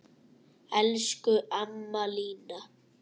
Elsku amma Lína.